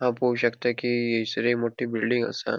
हाव पोव शकता की ऐसर एक मोटी बिल्डिंग आसा.